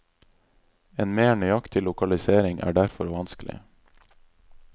En mer nøyaktig lokalisering er derfor vanskelig.